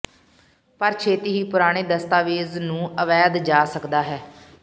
ਪਰ ਛੇਤੀ ਹੀ ਪੁਰਾਣੇ ਦਸਤਾਵੇਜ਼ ਨੂੰ ਅਵੈਧ ਜਾ ਸਕਦਾ ਹੈ